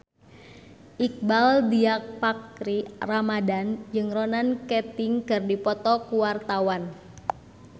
Iqbaal Dhiafakhri Ramadhan jeung Ronan Keating keur dipoto ku wartawan